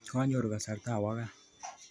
Kanyoru kasarta awo kaa